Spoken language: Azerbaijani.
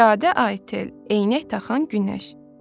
İradə Aytel, eynək taxan Günəş.